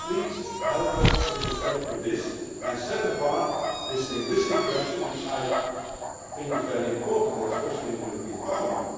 So please help us with respect to this and set apart this linguistic question, which I think is very important, especially in the European Parliament.